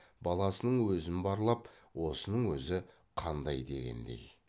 баласының өзін барлап осының өзі қандай дегендей